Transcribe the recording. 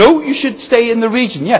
No, you should stay in the region.'